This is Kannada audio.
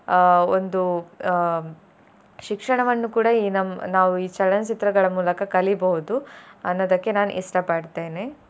ಅಹ್ ಒಂದು ಹ್ಮ್ ಶಿಕ್ಷಣವನ್ನು ಕೂಡಾ ಈ ನಮ್ಮ್~ ನಾವು ಈ ಚಲನಚಿತ್ರಗಳ ಮೂಲಕ ಕಲಿಬೋದು ಅನ್ನೋದಕ್ಕೆ ನಾನ್ ಇಷ್ಟ ಪಡ್ತೇನೆ.